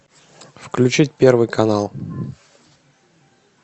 включить первый канал